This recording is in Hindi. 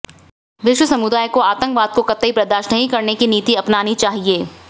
विश्व समुदाय को आतंकवाद को कतई बर्दाश्त नहीं करने की नीति अपनानी चाहिए